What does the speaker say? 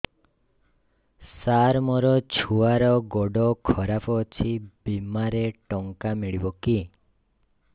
ସାର ମୋର ଛୁଆର ଗୋଡ ଖରାପ ଅଛି ବିମାରେ ଟଙ୍କା ମିଳିବ କି